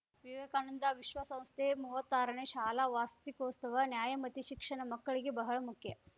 ವಿವೇಕಾನಂದ ವಿಶ್ವಸಂಸ್ಥೆ ಮುವತ್ತಾರನೇ ಶಾಲಾ ವಾಸ್ತಿಕೋತ್ಸವ ನ್ಯಾಯಮತಿ ಶಿಕ್ಷಣ ಮಕ್ಕಳಿಗೆ ಬಹಳ ಮುಖ್ಯ